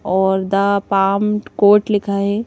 और the palm court लिखा है।